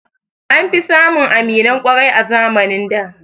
An fi samun aminan ƙwarai a zamanin da